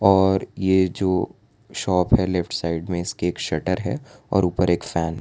और यह जो शॉप है लेफ्ट साइड में इसके एक शटर है और ऊपर एक फैन ।